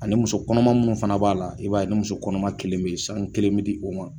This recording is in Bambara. Ani ni muso kɔnɔma minnu fana b'a la i b'a ye ni muso kɔnɔma kelen bɛ yen san kelen bɛ di o ma